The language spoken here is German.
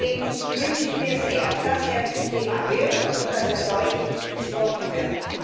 Deswegen wünsche ich mir sehr, dass er zum Thema wird und dass er deutlich besprochen wird.